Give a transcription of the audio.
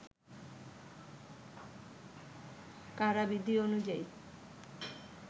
কারাবিধি অনুযায়ী